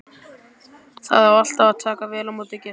Það á alltaf að taka vel á móti gestum.